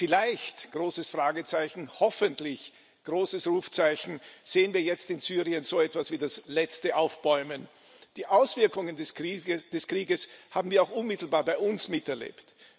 Vielleicht großes Fragezeichen, hoffentlich großes Rufzeichen sehen wir jetzt in Syrien so etwas wie das letzte Aufbäumen. Die Auswirkungen des Krieges haben wir auch unmittelbar bei uns miterlebt.